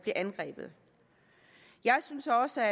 angrebet jeg synes også